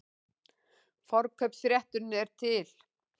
Forkaupsrétturinn er til.